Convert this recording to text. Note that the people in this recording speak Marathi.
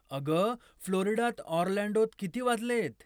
अगं, फ्लोरिडात ऑरलँडोत किती वाजलेत?